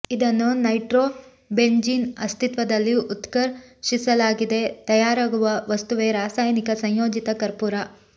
ಇದನ್ನು nitrobenzene ಅಸ್ತಿತ್ವದಲ್ಲಿ ಉತ್ಕರ್ ಷಿಸಲಾಗಿ ತಯಾರಾಗುವ ವಸ್ತುವೇ ರಾಸಾಯನಿಕ ಸಂಯೋಚಿತ ಕರ್ಪುರ